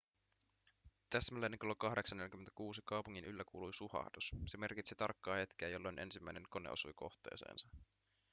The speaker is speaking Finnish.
täsmälleen kello 08.46 kaupungin yllä kuului suhahdus se merkitsi tarkkaa hetkeä jolloin ensimmäinen kone osui kohteeseensa